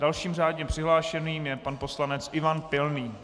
Dalším řádně přihlášeným je pan poslanec Ivan Pilný.